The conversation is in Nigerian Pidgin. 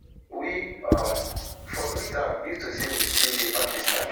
we um for treat am if to say we still dey pakistan